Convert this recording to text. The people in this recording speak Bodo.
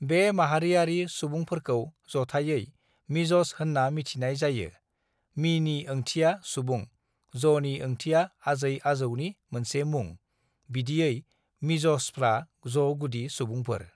"बे माहारियारि सुबुंफोरखौ जथाइयै मिज'स होनना मिथिनाय जायो (मीनि ओंथिया सुबुं, ज'नि ओंथिया आजै-आजौनि मोनसे मुं; बिदियै मिज'सफ्रा ज'गुदि सुबुंफोर)।"